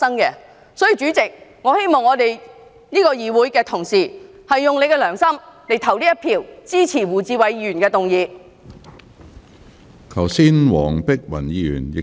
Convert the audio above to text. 因此，我希望議會的同事用良心投下一票，支持胡志偉議員的議案。